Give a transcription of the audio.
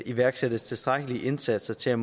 iværksættes tilstrækkelige indsatser til at